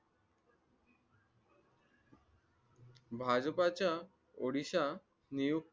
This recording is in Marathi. भाजपाच्या odisha नियुक्त